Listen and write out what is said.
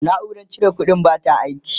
naurar cire ƙuɗin bata aiki